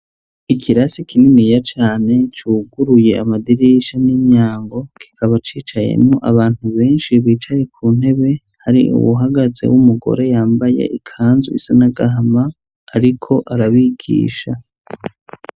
ikirasi kininiya cane cuguruye amadirisha n'imyango, kikaba cicayemwo abantu benshi bicaye ku ntebe, hari uwuhagaze w'umugore yambaye ikanzu isa n'agahama ariko arabigisha.